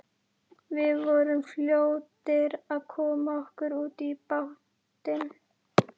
Við vorum fljótir að koma okkur út í bátinn.